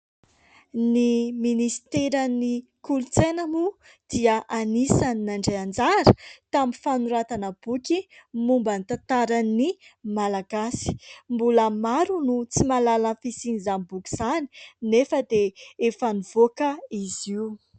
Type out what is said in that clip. Ny Ministeran'ny Kolotsaina moa dia anisany nandray anjara tamin'ny fanoratana boky momban'ny tantaran'ny Malagasy, mbola maro ny tsy mahalala ny fisian'izany boky izany nefa dia efa nivoaka izy io.